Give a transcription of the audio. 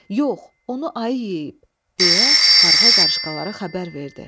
Yox, onu ayı yeyib, deyə qarğa qarışqalara xəbər verdi.